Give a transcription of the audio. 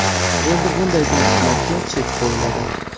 Endi bunday tartiblarga chek qo‘yiladi.